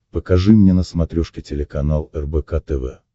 покажи мне на смотрешке телеканал рбк тв